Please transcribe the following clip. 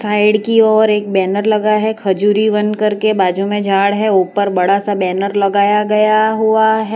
Side की ओर एक बैनर लगा है खजूरी वन करके बाजू में झाड़ है ऊपर बड़ा सा बैनर लगाया गया हुआ है।